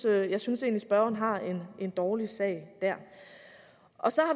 at jeg synes at spørgeren har en dårlig sag der